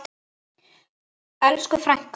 Elsku frænka.